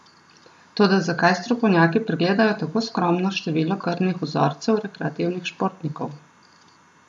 Toda zakaj strokovnjaki pregledajo tako skromno število krvnih vzorcev rekreativnih športnikov?